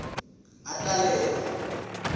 ngatalelwa